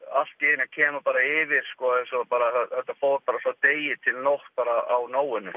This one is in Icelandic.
allt í einu kemur bara yfir eins og bara þetta fór bara frá degi til nótt bara á